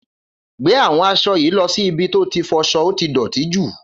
Gbe àwọn aṣọ yi lo ṣì ibì to ti foso óti dọ̀tí jù